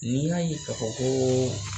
N'i y'a ye k'a fɔ kɔɔ